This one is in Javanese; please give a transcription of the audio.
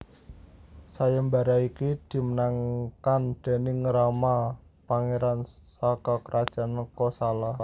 Sayembara iki dimenangkan déning Rama pangeran saka Kerajaan Kosala